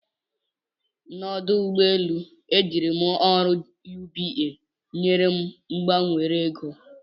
N'ọdụ ụgbọ elu, ejiri m ọrụ UBA nyere m gbanwere ego.